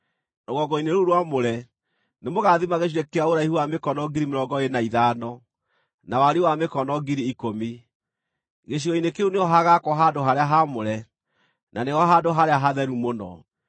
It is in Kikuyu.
Rũgongo-inĩ rũu rwamũre, nĩmũgathima gĩcunjĩ kĩa ũraihu wa mĩkono 25,000, na wariĩ wa mĩkono 10,000. Gĩcigo-inĩ kĩu nĩho hagaakwo handũ-harĩa-haamũre, na nĩho Handũ-harĩa-Hatheru-Mũno.